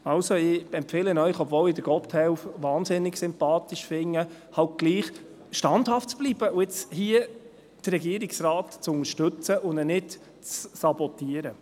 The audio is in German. Ich empfehle Ihnen, obwohl ich Gotthelf wahnsinnig sympathisch finde, halt doch standhaft zu bleiben, hier den Regierungsrat zu unterstützen und nicht zu sabotieren.